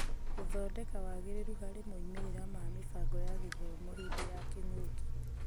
Gũthondeka wagĩrĩru harĩ moimĩrĩra ma mĩbango ya gĩthomo hĩndĩ ya kĩng'ũki.